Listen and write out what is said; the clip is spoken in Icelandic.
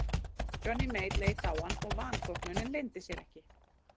Johnny Mate leit á hann og vanþóknunin leyndi sér ekki.